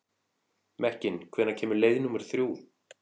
Mekkin, hvenær kemur leið númer þrjú?